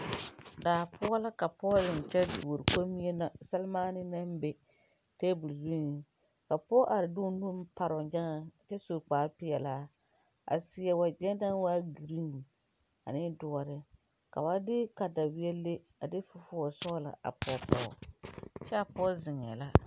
Daapoɔ la ka pɔge zeŋ kyɛ dore kɔmiina seremaane naŋ be table zuŋ ka pɔge are di o nu paroo nyaa kyɛ su kpare peɛlaa a seɛ wagyɛ neŋ waa green ane dɔɔre ka ba de katawiɛ le fufusɔglaa a pɔge pɔge kyɛ a pɔge zeŋa la .